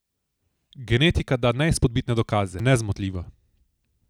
Genetika da neizpodbitne dokaze, je nezmotljiva.